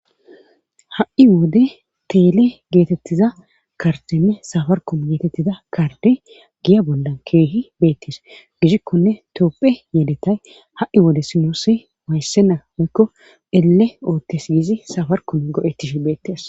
Ha'i wode tele geetetida kardenne safirakome getetida karde giya bollan keehi beetees. gidikkonne tophiya yeletaay ha'i wode nuusi wayissena woykko elle ooththes gidi safri koome go'etishin beetes.